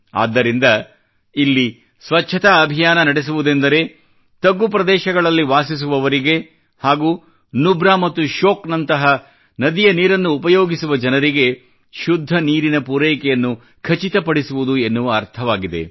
ಆದ್ದರಿಂದ ಇಲ್ಲಿ ಸ್ವಚ್ಛತಾ ಅಭಿಯಾನ ನಡೆಸುವುದೆಂದರೆ ತಗ್ಗು ಪ್ರದೇಶಗಳಲ್ಲಿ ವಾಸಿಸುವವರಿಗೆ ಹಾಗೂ ನುಬ್ರಾ ಮತ್ತು ಶ್ಯೋಕ್ ನಂತಹ ನದಿಯ ನೀರನ್ನು ಉಪಯೋಗಿಸುವ ಜನರಿಗೆ ಶುದ್ಧ ನೀರಿನ ಪೂರೈಕೆಯನ್ನು ಖಚಿತಪಡಿಸುವುದು ಎನ್ನುವ ಅರ್ಥವಾಗಿದೆ